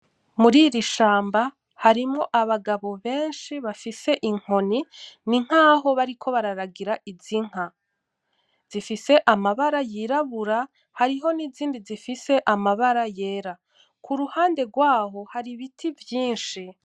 Muriri shamba harimwo abagabo benshi bafise inkoni ninkaho bariko bararagira iz'inka; zifise amabara yirabura hariho n'izindi zifise amabara yera , kuruhande rwaho har'ibiti vyinshi.